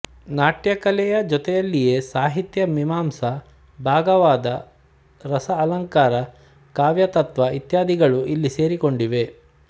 ನಾಟ್ಯಕಲೆಯ ಜೊತೆಯಲ್ಲಿಯೇ ಸಾಹಿತ್ಯ ಮೀಮಾಂಸಾ ಭಾಗವಾದ ರಸ ಅಲಂಕಾರ ಕಾವ್ಯತತ್ತ್ವ ಇತ್ಯಾದಿಗಳೂ ಇಲ್ಲಿ ಸೇರಿಕೊಂಡಿವೆ